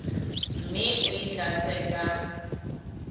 mme o e tlatse ka